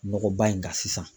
Nɔgɔba in kan sisan.